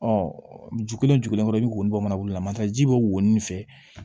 ju kelen o ju kelen kɔrɔ i be woyo bɔ mana bolola masa ji be woyo nin fɛ